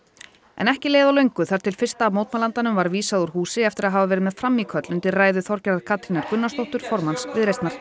ekki leið á löngu þar til fyrsta var vísað úr húsi eftir að hafa verið með frammíköll undir ræðu Þorgerðar Katrínar Gunnarsdóttur formanns Viðreisnar